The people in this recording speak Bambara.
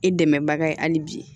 I dɛmɛbaga ye hali bi